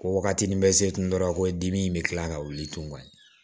Ko waagati ni bɛ se kun dɔrɔn na ko dimi bɛ kila ka wuli tugun